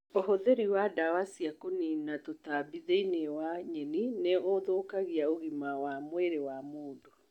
ũhũthiri wa ndawa cia kũnina tũtambi thĩiniĩ wa nyeni nĩ ũthũkagia ũgima wa mwĩrĩ wa mũndũ.